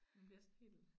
Man bliver sådan helt